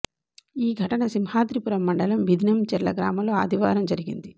ఈ ఘటన సింహాద్రిపురం మండలం బిదినంచెర్ల గ్రామంలో ఆదివారం జరిగింది